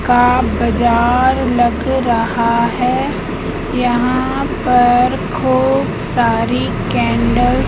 का बाजार लग रहा है यहाँ पर खूब सारी कैंडल --